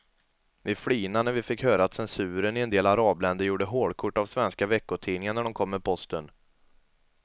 Vi flinade när vi fick höra att censuren i en del arabländer gjorde hålkort av svenska veckotidningar när de kom med posten.